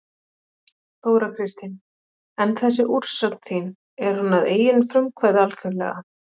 Þóra Kristín: En þessi úrsögn þín er hún að eigin frumkvæði algjörlega?